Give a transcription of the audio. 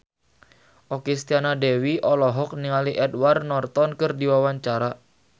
Okky Setiana Dewi olohok ningali Edward Norton keur diwawancara